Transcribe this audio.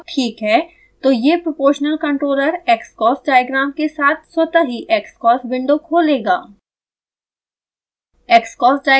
यदि नेटवर्क ठीक है तो यह proportional controller xcos डायग्राम के साथ स्वतः ही xcos विंडो खोलेगा